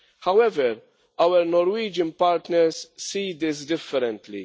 However, our Norwegian partners see this differently.